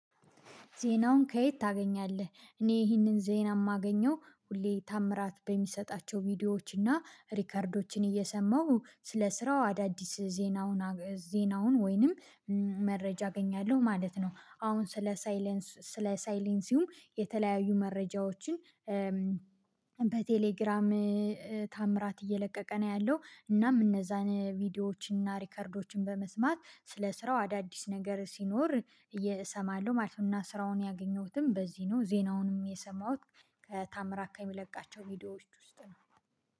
ዜናውን ከየት ታገኛለህ? እኔ ይህንን ዜና የማገኘው ሁሌ ተአምራት በሚሰጣቸው ቪዲዮዎች እና ሪከርዶችን እየሰማሁ ስለ ስራው አዳዲስ ዜናውን ዜናውን ወይንም መረጃ አገኛለሁ ማለት ነው አሁን ስለ ሳይለንስ ስለ ሳይለንሲውም የተለያዩ መረጃዎችን በቴሌግራም ታምራት እየለቀቀ ነው ያለው እናም እነዛን ቪዲዮዎችን እና ሪከርዶችን በመስማት ስለ ስራው አዳዲስ ነገር ሲኖር እሰማለሁ ማለት ነው እና ስራውን ያገኘሁትም በዚህ ነው ዜናውንም የሰማሁት ከታምራት ከሚለቃቸው ቪዲዮዎች ውስጥ ነው።